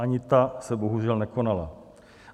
Ani ta se bohužel nekonala.